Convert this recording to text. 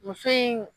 Muso in